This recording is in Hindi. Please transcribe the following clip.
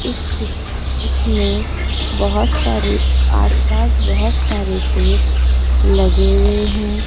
इस पिक इसमें बहुत सारे आस-पास बहुत सारे पेड़ लगे हुए हैं।